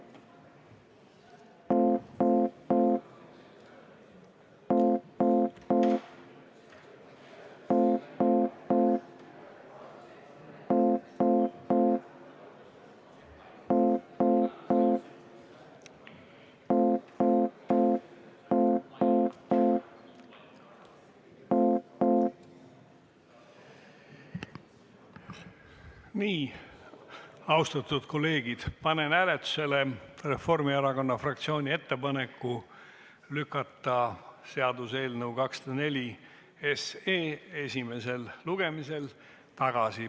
Austatud kolleegid, panen hääletusele Reformierakonna fraktsiooni ettepaneku lükata seaduseelnõu 204 esimesel lugemisel tagasi.